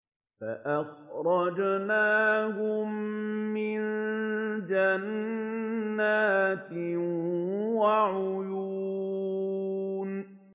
فَأَخْرَجْنَاهُم مِّن جَنَّاتٍ وَعُيُونٍ